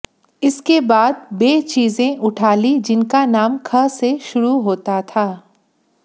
इसके बाद वे चीजें उठा लीं जिनका नाम ख से शुरू होता था